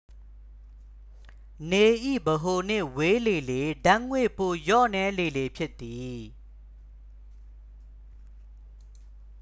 နေ၏ ဗဟိုနှင့် ဝေးလေလေ ဓာတ်ငွေ ပိုလျော့နည်းလေလေ ဖြစ်သည်